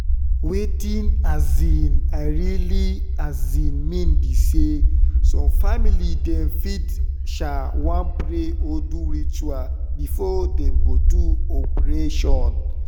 wetin um i realy um mean be say some family dem fit um want pray or do ritual before dem go do operation